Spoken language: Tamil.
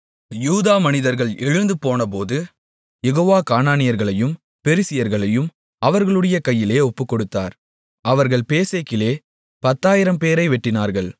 யூதா மனிதர்கள் எழுந்துபோனபோது யெகோவா கானானியர்களையும் பெரிசியர்களையும் அவர்களுடைய கையிலே ஒப்புக்கொடுத்தார் அவர்கள் பேசேக்கிலே 10000 பேரை வெட்டினார்கள்